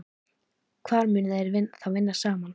Hvar munu þeir þá vinna saman?